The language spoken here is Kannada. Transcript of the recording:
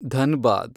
ಧನ್‌ಬಾದ್